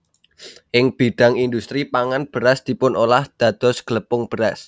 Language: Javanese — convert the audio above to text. Ing bidhang indhustri pangan beras dipunolah dados glepung beras